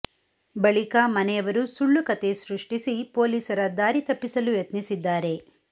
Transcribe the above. ಬಳಿಕ ಮನೆಯವರು ಸುಳ್ಳು ಕತೆ ಸೃಷ್ಟಿಸಿ ಪೊಲೀಸರ ದಾರಿ ತಪ್ಪಿಸಲು ಯತ್ನಿಸಿದ್ದಾರೆ